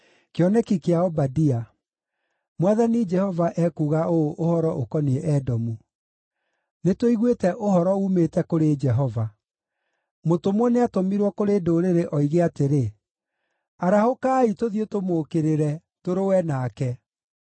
Kĩoneki kĩa Obadia. Mwathani Jehova ekuuga ũũ ũhoro ũkoniĩ Edomu: Nĩtũiguĩte ũhoro uumĩte kũrĩ Jehova. Mũtũmwo nĩatũmirwo kũrĩ ndũrĩrĩ oige atĩrĩ, “Arahũkai, tũthiĩ tũmũũkĩrĩre, tũrũe nake”: